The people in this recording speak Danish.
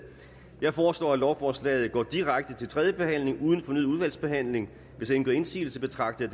jeg foreslår at lovforslaget går direkte til tredje behandling uden fornyet udvalgsbehandling hvis ingen gør indsigelse betragter